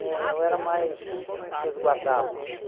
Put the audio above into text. Eh eu era mais resguardadozinho.